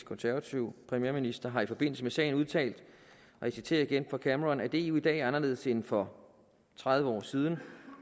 konservative premierminister har i forbindelse med sagen udtalt og jeg citerer igen fra cameron at eu i dag er anderledes end for tredive år siden